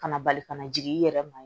Kana bali ka na jigin i yɛrɛ ma